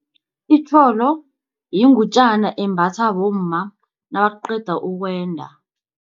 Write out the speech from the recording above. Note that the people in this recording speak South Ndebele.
Itjholo yingutjana embatha bomma nakaqeda ukwenda.